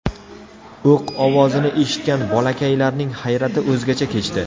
O‘q ovozini eshitgan bolakalaylarning hayrati o‘zgacha kechdi.